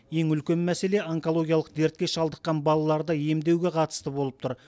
ең үлкен мәселе онкологиялық дертке шалдыққан балаларды емдеуге қатысты болып тұр